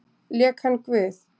Lék hann guð?